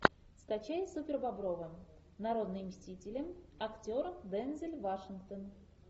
скачай супербобровы народные мстители актер дензел вашингтон